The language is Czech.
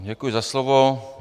Děkuji za slovo.